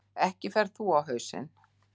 Ekki ferð þú á hausinn.